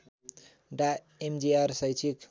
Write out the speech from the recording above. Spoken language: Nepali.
डा एमजीआर शैक्षिक